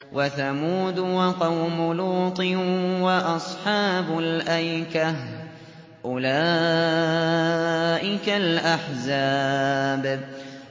وَثَمُودُ وَقَوْمُ لُوطٍ وَأَصْحَابُ الْأَيْكَةِ ۚ أُولَٰئِكَ الْأَحْزَابُ